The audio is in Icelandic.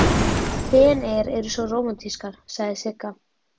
Feneyjar eru svo rómantískar, sagði Sigga.